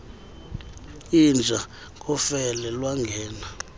inja ngofele lwangena